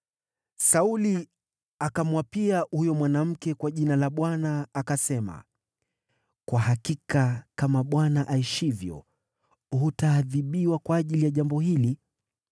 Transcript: Sauli akamwapia huyo mwanamke kwa Jina la Bwana , akasema, “Kwa hakika kama Bwana aishivyo, hutaadhibiwa kwa ajili ya jambo hili.”